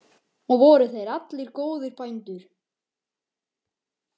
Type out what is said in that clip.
Og voru þeir allir góðir bændur.